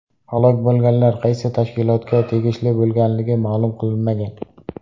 Halok bo‘lganlar qaysi tashkilotga tegishli bo‘lganligi ma’lum qilinmagan.